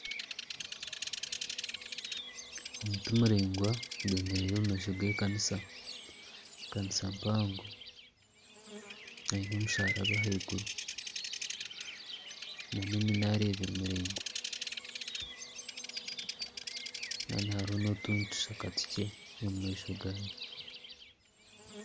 Omuti muraingwa gwemereire omu maisho g'ekanisa ekanisa mpango eine omusharaba ahaiguru nana eminaara ebiri miraingwa Kandi hariho n'otundi tushaka tukye omu maisho gaayo